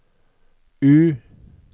U